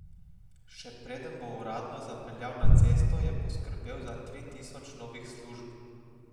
Še preden bo uradno zapeljal na cesto, je poskrbel za tri tisoč novih služb.